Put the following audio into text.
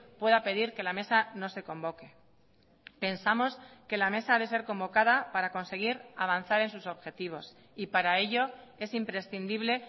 pueda pedir que la mesa no se convoque pensamos que la mesa ha de ser convocada para conseguir avanzar en sus objetivos y para ello es imprescindible